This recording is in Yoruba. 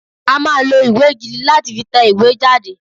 A máa lo ìwé gidi lá ti fi tẹ ìwé jáde